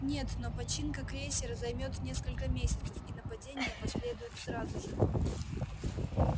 нет но починка крейсера займёт несколько месяцев и нападение последует сразу же